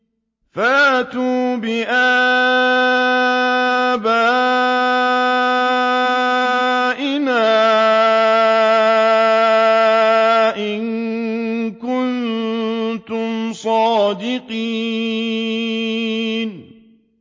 فَأْتُوا بِآبَائِنَا إِن كُنتُمْ صَادِقِينَ